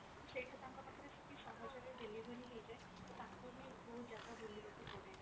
ତ ସେଇଟା ତାଙ୍କ ପାଖରେ ସେତିକି ସହଜ ରେ delivery ହେଇଯାଏ ତ ତାଙ୍କୁ ବି ବହୁତ ଜାଗା ବୁଲିବାକୁ ପଡେନି।